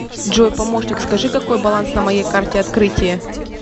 джой помощник скажи какой баланс на моей карте открытие